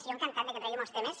jo encantat que tregui molts temes